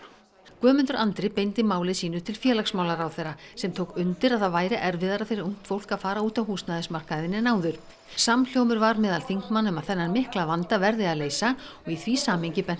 Guðmundur Andri beindi máli sínu til félagsmálaráðherra sem tók undir að það væri erfiðara fyrir ungt fólk að fara út á húsnæðismarkaðinn en áður samhljómur var meðal þingmanna um að þennan mikla vanda verði að leysa og í því samhengi bent